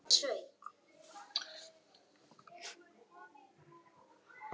Bætið léttmjólkinni út í og kryddið með basilíku eftir smekk.